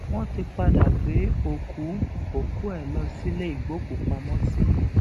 wọn ti padà gbé òkú òkú ẹ lọ sílé ìgbókùúpamọsí